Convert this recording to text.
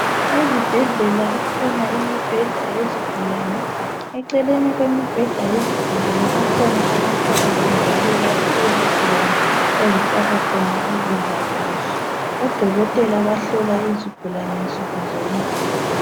Ezibhedlela kulemibheda yezigulane eceleni kwemibheda yezigula kukhona amakhabothi lapho izigulane ezifaka khona ukudla kwazo odokotela bahlola izigulane nsuku zonke